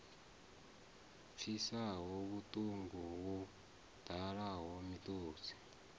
pfisaho vhuṱungu wo ḓala miṱodzi